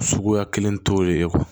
Suguya kelen t'o de kɔ